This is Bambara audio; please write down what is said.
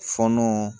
Fɔɔnɔ